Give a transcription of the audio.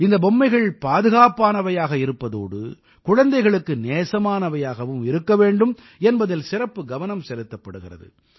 இந்த பொம்மைகள் பாதுகாப்பானவையாக இருப்பதோடு குழந்தைகளுக்கு நேசமானவையாகவும் இருக்க வேண்டும் என்பதில் சிறப்பு கவனம் செலுத்தப்படுகிறது